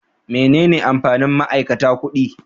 Menene amfanin ma'aikata kuɗi?